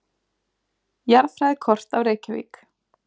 Jarðfræðikort af Reykjavík.